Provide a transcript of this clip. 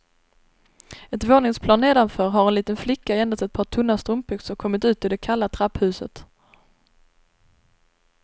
Ett våningsplan nedanför har en liten flicka i endast ett par tunna strumpbyxor kommit ut i det kalla trapphuset.